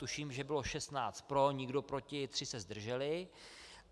Tuším, že bylo 16 pro, nikdo proti, 3 se zdrželi.